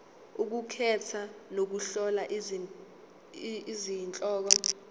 ukukhetha nokuhlola izihloko